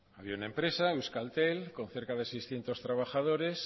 había una empresa euskaltel con cerca de seiscientos trabajadores